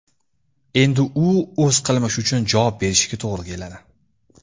Endi u o‘z qilmishi uchun javob berishiga to‘g‘ri keladi.